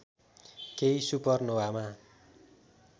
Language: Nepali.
केही सुपर नोवामा